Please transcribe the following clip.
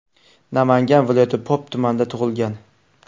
Namangan viloyati Pop tumanida tug‘ilgan.